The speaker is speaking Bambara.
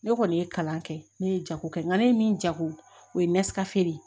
Ne kɔni ye kalan kɛ ne ye jago kɛ n ka ne ye min jago o ye de ye